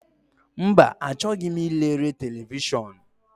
Mba, achọghị m ilere televishọn.